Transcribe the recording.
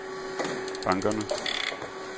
bankerne